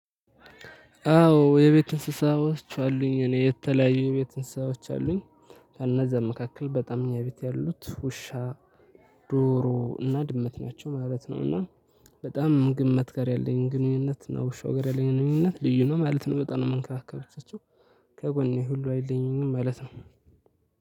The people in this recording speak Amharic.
አዎ የቤት እንስሳዎች አሉኝ እኔ የተለያዩ የቤት እንስሳዎች አሉኝ ከነዛም መካከል በጣም እኛ ቤት ያሉት ውሻ ዶሮ እና ድመት ናቸው ማለት ነው። እና በጣም ድመት ጋር ያለኝ ግንኙነት ነው። ውሻው ግኑኝነት ልዩ ነው ማለት ነው። በጣም የምንከባከባቸው ከጎኔ ሁሉ አይለዩኝም ማለት ነው።